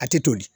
A tɛ toli